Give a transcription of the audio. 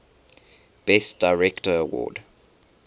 best director award